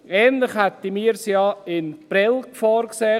Ähnlich hatten wir es ja für Prêles vorgesehen.